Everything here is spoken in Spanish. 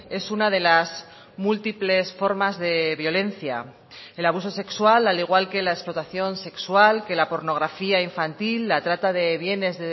es una de las múltiples formas de violencia el abuso sexual al igual que la explotación sexual que la pornografía infantil la trata de bienes